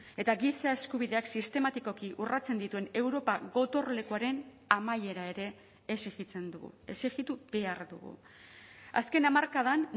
eta giza eskubideak sistematikoki urratzen dituen europa gotorlekuaren amaiera ere exijitzen dugu exijitu behar dugu azken hamarkadan